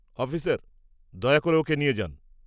-Officer, দয়া করে ওঁকে নিয়ে যান।